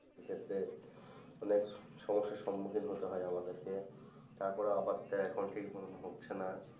যে ক্ষেত্রে অনেক সমস্যার সম্মুখীন হতে হয় আমাদেরকে, তারপরেও আবার তা এখন ঠিক মতো হচ্ছে না।